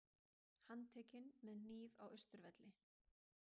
Handtekinn með hníf á Austurvelli